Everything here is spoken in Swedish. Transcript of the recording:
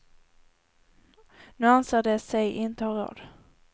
Nu anser de sig inte ha råd.